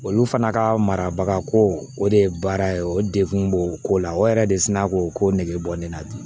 Olu fana ka mara ko o de ye baara ye o degun b'o ko la o yɛrɛ de sina k'o ko nege bɔ ne la bi